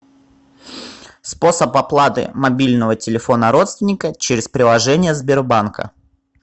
способ оплаты мобильного телефона родственника через приложение сбербанка